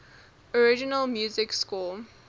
original music score